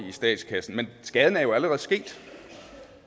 i statskassen men skaden er jo allerede sket